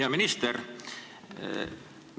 Hea minister!